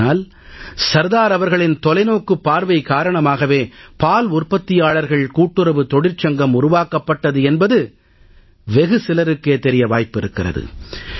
ஆனால் சர்தார் அவர்களின் தொலைநோக்குப் பார்வை காரணமாகவே பால் உற்பத்தியாளர்கள் கூட்டுறவுத் தொழிற்சங்கம் உருவாக்கப்பட்டது என்பது வெகு சிலருக்கே தெரிய வாய்ப்பிருக்கிறது